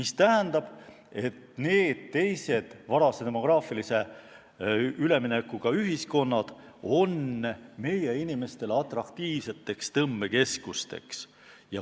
See tähendab, et teised varase demograafilise üleminekuga ühiskonnad on meie inimeste silmis atraktiivsed tõmbekeskused.